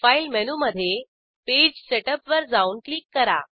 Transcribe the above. file मेनूमधे page setup वर जाऊन क्लिक करा